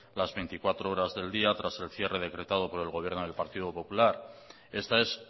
las veinticuatro horas del día tras el cierre decretado por el gobierno del partido popular esta es